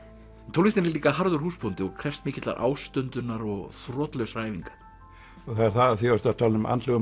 tónlistin er líka harður húsbóndi og krefst mikillar ástundunar og þrotlausra æfinga af því þú ert að tala um andlegu